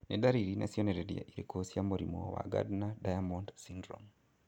Nĩ ndariri na cionereria irĩkũ cia mũrimũ wa Gardner Diamond syndrome?